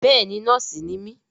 Bẹ́ẹ̀ni nọ́ọ̀sì ni mí